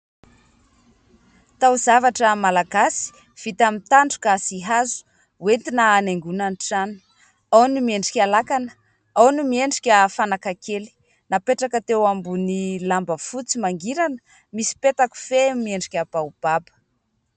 Tao-zavatra Malagasy vita amin'ny tandroka sy hazo ho entina hanaingona ny trano. Ao ny miendrika lakana, ao ny miendrika fanaka kely. Napetraka teo ambony lamba fotsy mangirana misy petakofehy miendrika baobaba.